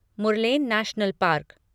Murlen national park